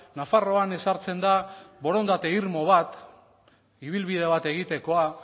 nafarroan ezartzen da borondate irmo bat ibilbide bat egitekoa